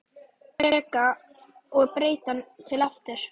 Reka og breyta til aftur?